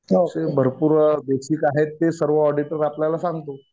तसे भरपूर बेसिक आहे ते सर्व ऑडिटर आपल्याला सांगतो.